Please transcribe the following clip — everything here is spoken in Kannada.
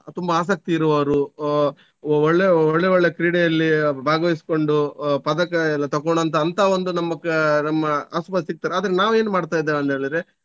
ತುಂಬ ಆಸಕ್ತಿ ಇರುವವರು ಆಹ್ ಒಳ್ಳೆ ಒಳ್ಳೆ ಒಳ್ಳೆ ಕ್ರೀಡೆಯಲ್ಲಿ ಭಾಗವಿಸ್ಕೊಂಡು ಆಹ್ ಪದಕ ಎಲ್ಲ ತಕೊಂಡಂತ ಅಂತ ಒಂದು ನಮ್ಮ ಆಹ್ ನಮ್ಮ ಆಸು ಪಾಸು ಇರ್ತಾರೆ. ಆದ್ರೆ ನಾವು ಏನು ಮಾಡ್ತಾಯಿದ್ದೀವಂತೇಳಿದ್ರೆ.